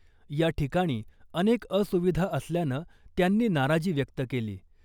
याठिकाणी अनेक असुविधा असल्यानं त्यांनी नाराजी व्यक्त केली .